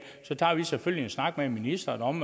så tager vi selvfølgelig en snak med ministeren om